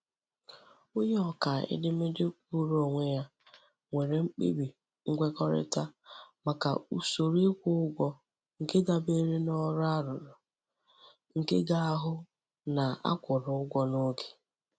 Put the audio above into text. Onye ọkaa edemede kwụụrụ onwe nwere mkpebi nkwekọrịta màkà usoro ịkwụ ụgwọ nke dabeere n'ọrụ arụrụ nke ga-ahụ na a kwụrụ ụgwọ n'oge.